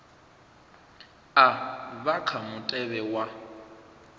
a vha kha mutevhe wa